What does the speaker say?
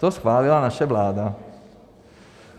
To schválila naše vláda.